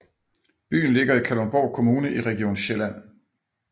Byen ligger i Kalundborg Kommune i Region Sjælland